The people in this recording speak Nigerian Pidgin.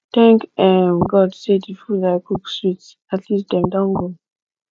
thank um god say the the food i cook sweet at least dem don go